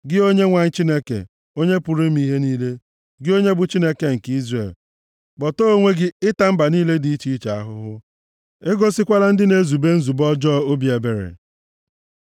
Gị, Onyenwe anyị Chineke Onye pụrụ ime ihe niile, gị onye bụ Chineke nke Izrel, kpọtee onwe gị ịta mba niile dị iche iche ahụhụ; e gosikwala ndị na-ezube nzube ọjọọ obi ebere. Sela